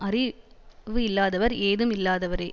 அறிவு இல்லாதவர் ஏதும் இல்லாதவரே